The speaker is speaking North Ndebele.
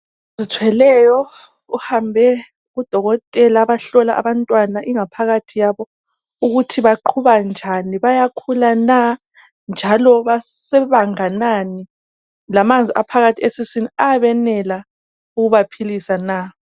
Ozithweleyo uhambe kudokotela abahlolwa abantwana ingaphakathi yabo ukuthi baqhuba njani bayakhula na njalo ba sebanganani lamanzi aphakathi esiswini ayabenela ukubaphilisa na.